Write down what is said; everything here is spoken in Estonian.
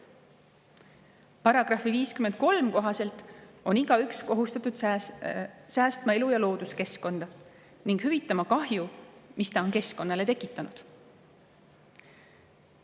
Paragrahvi 53 kohaselt on igaüks kohustatud säästma elu- ja looduskeskkonda ning hüvitama kahju, mis ta on keskkonnale tekitanud.